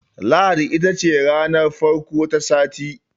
Lahadi ita ce ranar farko ta sati.